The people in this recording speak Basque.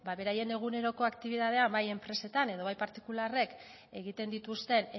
ba beraien eguneroko aktibitatea bai enpresetan edo bai partikularrek egiten dituzten